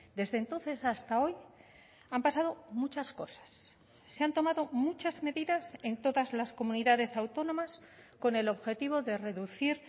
desde entonces hasta hoy han pasado muchas cosas se han tomado muchas medidas en todas las comunidades autónomas con el objetivo de reducir